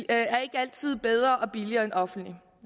er ikke altid bedre og billigere end offentligt